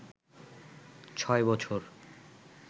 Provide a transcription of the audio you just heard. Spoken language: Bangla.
৬ বছর